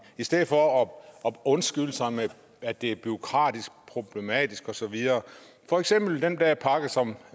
i stedet for at undskylde sig med at det er bureaukratisk problematisk og så videre i for eksempel den her pakke som